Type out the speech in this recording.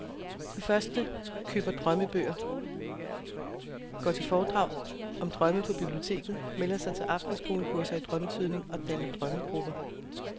De første køber drømmebøger, går til foredrag om drømme på biblioteket, melder sig til aftenskolekurser i drømmetydning og danner drømmegrupper.